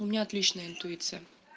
у меня отличная интуиция